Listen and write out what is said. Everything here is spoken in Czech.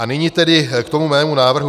A nyní tedy k tomu mému návrhu.